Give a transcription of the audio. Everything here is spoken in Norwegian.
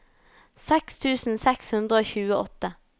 seks tusen seks hundre og tjueåtte